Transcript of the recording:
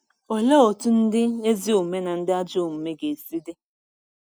Olee otú ndị ezi omume na ndị ajọ omume ga-esi dị?